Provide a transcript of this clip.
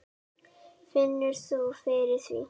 Finnur þú fyrir því?